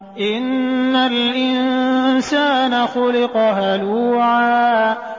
۞ إِنَّ الْإِنسَانَ خُلِقَ هَلُوعًا